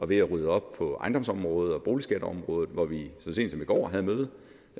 ved at rydde op på ejendomsområdet og boligområdet og vi havde møde